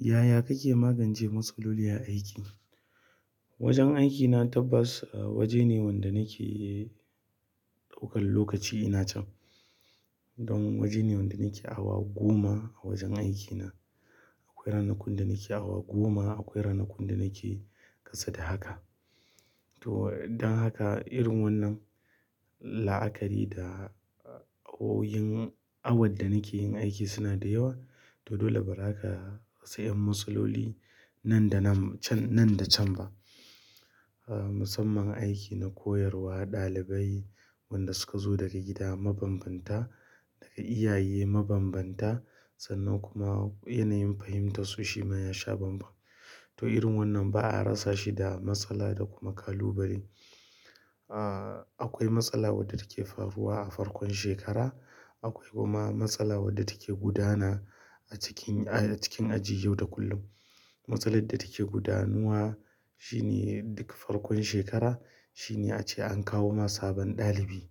Yaya kake magance matsaloli a aiki? Wajen aikina tabbas waje ne wanda nake ɗaukan lokaci ina can. Don waje ne wanda nake awa goma a wajen aikina. Akwai ranakun da nake awa goma, akwai ranakun da nake ƙasa da haka. To, don haka irin wannan la'akari da oyin awa da nake yin aiki suna da yawa. To dole bari zaka. Sai 'yan matsaloli nan da nan, can-- nan da can ba. Musamman aiki na koyarwa ɗalibai wanda suka zo daga gida mabanbamta da iyaye mabanbamta sannan kuma yanayin fahimtarsu shima ya sha banbam to irin wannan ba a rasa shi da matsala da kuma kalubale. Ah, akwai matsala wadda take faruwa a farkon shekara. Akwai kuma matsala wadda take gudana a cikin, a cikin aji yau da kullum. Matsalar da take gudanuwa shi ne duk farkon shekara. Shi ne ace an kawo ma sabon ɗalibi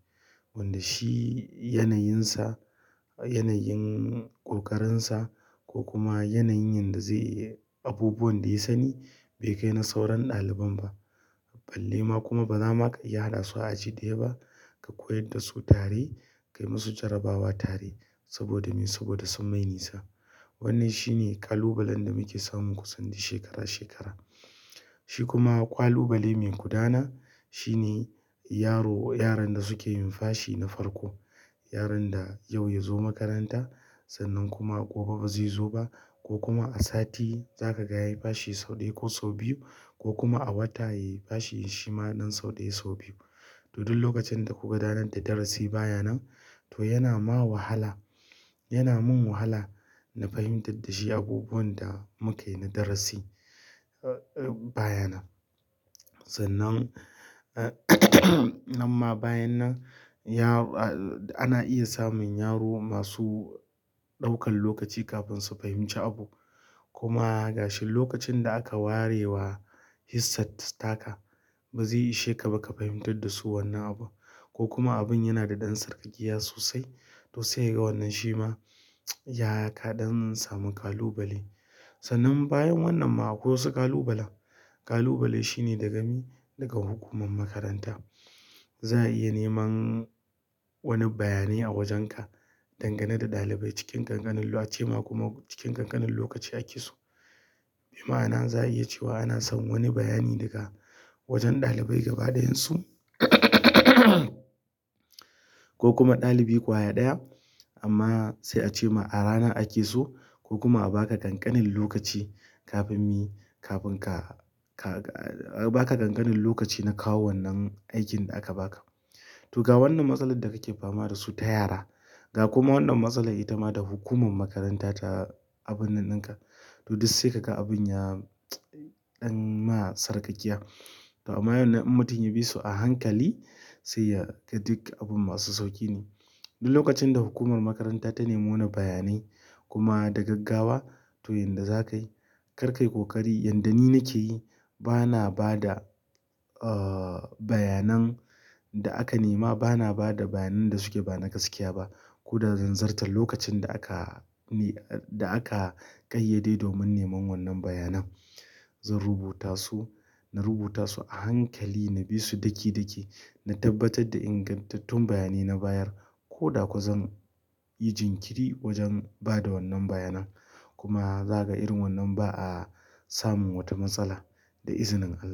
wanda shi yanayinsa, yanayin ƙoƙarinsa ko kuma yanayin yanda zai yi abubuwan da ya sani bai kai na sauran ɗaliban ba. Balle ma kuma ba za ma ka iya haɗa su a ji da ya ba. Ka koyar da su tare, ka yi musu jarabawa tare saboda me? Saboda sun mai nisa. Wannan shi ne ƙalubalen da muke samun kusan duk shekara-shekara. Shi kuma ƙwalbale mai gudana shi ne yaro, yaran da suke yin fashi na farko. Yaran da yau ya zo makaranta sannan kuma gobe ba zai zo ba ko kuma a sati za ka ga yayi fashi sau ɗaya ko sau biyu ko kuma a wata yayi fashi shima ɗan sau ɗaya, sau biyu. To duk lokacin da kuka gudanar da darasi bayan nan to yana ma wahala. Yana min wahala na fahimtar da shi abubuwan da muka yi na darasi, ah, bayan nan. Sannan, nan ma bayan nan ya-- ana iya samun yaro masu ɗaukan lokaci kafin su fahimci abu. Kuma gashi lokacin da aka warewa hissat taka ba zai ishe ka ba ka fahimtar da su wannan abu ko kuma abun yana da ɗan sarƙaƙiya sosai. To sai kaga wannan shi ma ya kaɗa don samu kalubale. Sannan bayan wannan ma akwai wasu kalubalen. Kalubale shine daga mi, daga hukumar makaranta. Za a iya neman wani bayani a wajenka dangane da ɗalibai cikin ƙanƙanin wa ce ma kuma cikin ƙanƙanin lokaci ake so. Bi ma'ana za a iya cewa ana son wani bayani daga wajen ɗalibai gaba ɗayansu ko kuma ɗalibi ƙwaya ɗaya. Amma sai a ce ma a rana ake so ko kuma a baka ƙanƙanin lokaci kafin mi, kafin ka, ka, baka ƙanƙanin lokaci na kawo wannan aikin da aka baka. To ga wannan matsalar da kake fama da su ta yara. Ga kuma wannan matsalar ita ma da hukumar makaranta ta abun nan ɗinka. To duk sai ka ga abun ya ɗan ma sarƙaƙiya. To amma waɗanan in mutum ya bi su a hankali sai ya ga duk abun masu sauƙi ne. Duk lokacin da hukumar makaranta ta nemi wani bayanai kuma da gaggawa to yadda zakai kar kayi koƙari. Yadda ni nake yi ba na ba da, ah, bayanan da aka nema. Ba na bada bayanan da suke ba na gaskiya ba. Ko da zanzarta lokacin da aka ne, da aka ƙayyade domin neman wannan bayanan. Zan rubutasu, na rubuta ɓsu a hankali, na bi su daki-daki, na tabbatar da ingantattun bayanai na bayar ko da kuwa zan yi jimiri wajen ba da wannan bayanan. Kuma zaka irin wannan ba a samun wata matsala da izinin Allah.